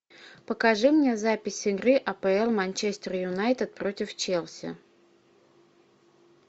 покажи мне запись игры апл манчестер юнайтед против челси